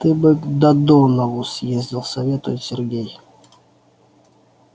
ты бы к додонову съездил советует сергей